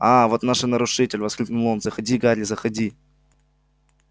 а-а вот и наш нарушитель воскликнул он заходи гарри заходи